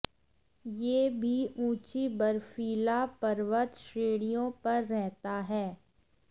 यह भी ऊंची बर्फीली पर्वत श्रेणियों पर रहता है